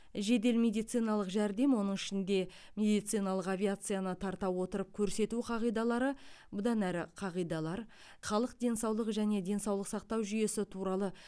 жедел медициналық жәрдем оның ішінде медициналық авиацияны тарта отырып көрсету қағидалары бұдан әрі қағидалар халық денсаулығы және денсаулық сақтау жүйесі туралы